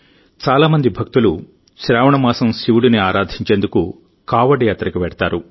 చాలా మంది భక్తులు శ్రావణ మాసం శివుడిని ఆరాధించేందుకు కావడ్ యాత్రకు వెళ్తారు